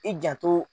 I janto